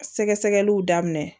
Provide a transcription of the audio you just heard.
Sɛgɛsɛgɛliw daminɛ